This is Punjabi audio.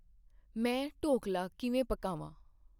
ਮੈਂ ਢੋਕਲਾ ਕਿਵੇਂ ਪਕਾਵਾਂ